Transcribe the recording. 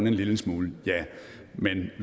en lille smule